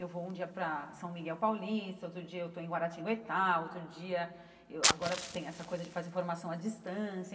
Eu vou um dia para São Miguel Paulista, outro dia eu estou em Guaratinguetá, outro dia... eu agora tem essa coisa de fazer formação à distância.